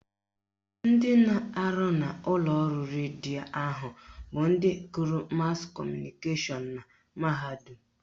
Ndị na-arụ n'ụlọọrụ redio ahụ bụ ndị gụrụ mas kọmụnikeshọn na mahadum